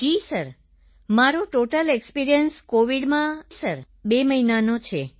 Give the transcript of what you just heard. જી sir મારો total experience કોવિડમાં sir 2 મહિનાનો છે સર